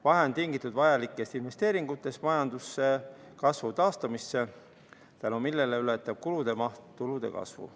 Vahe on tingitud vajalikest investeeringutest majanduskasvu taastumisse, mille tõttu ületab kulude maht tulude kasvu.